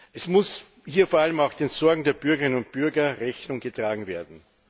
Es muss hier vor allem auch den Sorgen der Bürgerinnen und Bürger Rechnung getragen werden.